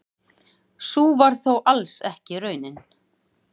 Sú var þó alls ekki raunin.